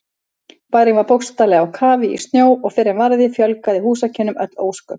Bærinn var bókstaflega á kafi í snjó og fyrr en varði fjölgaði húsakynnum öll ósköp.